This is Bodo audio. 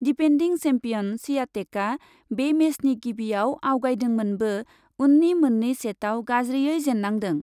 डिपेन्डिं सेम्पियन स्वियातेकआ बे मेचनि गिबिआव आवगायदोंमोनब्बो उननि मोननै सेटआव गाज्रियै जेन्नांदों ।